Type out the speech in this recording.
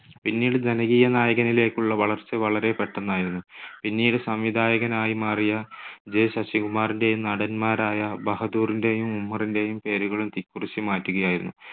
പിന്നീട് ജനകീയ നായകനിലേക്കുള്ള വളർച്ച വളരെ പെട്ടെന്നായിരുന്നു. പിന്നീട് സംവിധായകനായി മാറിയ J ശശികുമാറിന്റെയും നടന്മാരായ ബഹദൂറിന്റെയും ഉമ്മറിന്റെയും പേരുകളും തിക്കുറിശ്ശി മാറ്റുകയായിരുന്നു.